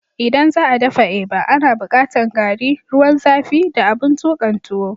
ldan za'a daffa eba, ana bukatan garri, ruwan zafi da abin tukan tuwo